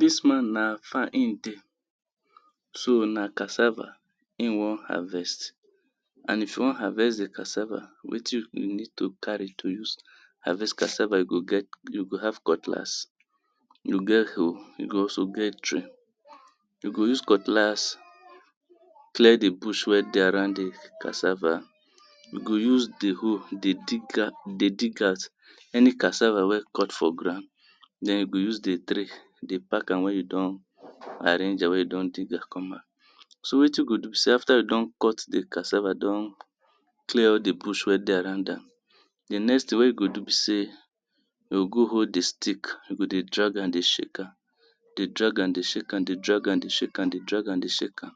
Dis man na farm in dey, so na cassava e wan harvest and if you wan harvest di cassava wetin you go need to carry if you wan carry cassava you go need to get cutlass, you get hoe you go also get tray. You go use cutlass clear di bush wey dey around di cassava you go use di hoe dey dig out dey dig out any cassava wen dey cut for ground den you go use di tray dey park am wen you don arrange am wen you don dig am komot. So wetin you go do be sey after you don cut di cassava don clear all di bush wen dey around am, di next thing en you go do be sey you go go hold di stick dey drag am, dey shake am, dey drag am, dey shake am, dey drag am, dey shake am, dey drag am, dey shake am,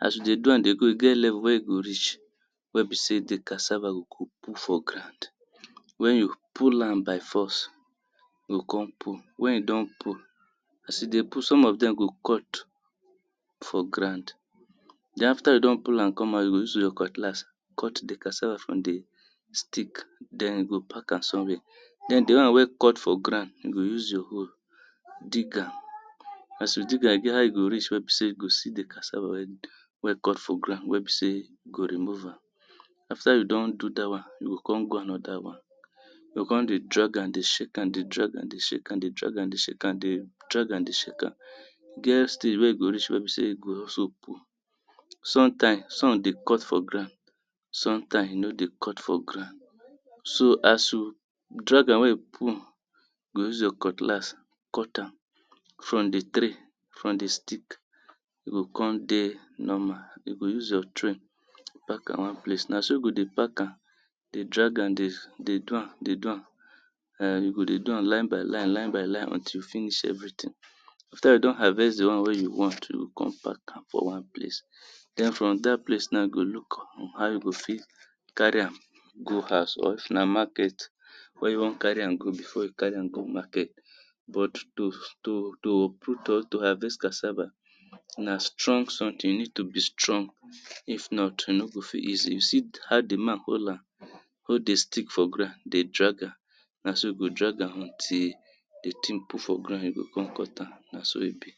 as you dey do am dey go e get level wen e go reach wen be sey di cassava go komot for ground. Wen you pull am by force, e go come pull wen e don pull, as e dey pull some of dem go cut for ground de after you don pull am you go use your cutlass cut di cassava from di stick den you go pack am somewhere, den di one wey cut for ground you go use your hoe dig am as you dig am e get where you reach wen be sey you go see di cassava wen cut for ground wen you go remove am, after you don do dat one, you go come go another one, you go come dey drag am dey shake am, dey drag am dey shake am, dey drag am dey shake am, dey drag am dey shake am, dey drag am dey shake am, e get still wen you go reach wen be sey you go also pull, sometimes some dey cut for ground, sometimes e nor dey cut for ground as you drag am wen pull you go use your cutlass cut am from di stick, from di tree, e go come dey normal, you go use your tray pack am one place, na so you go dey pack am, dey drag am, dey do am, dey do am, [urn] you go dey do am line by line, line by line until you finish everything. after you don harvest di one wey you want you go come park am for one place, den from dat place na you go look how you go fit carry am go house or if na market wen you want carry am go before you carry am go market but to to to proot to harvest cassava na strong something you need to be strong if not e no go fit easy, you see how di man hold am, hold di stick for ground dey drag am, na so you go drag am until all di stick pull for ground na so e be.